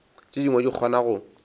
tše dingwe di kgona go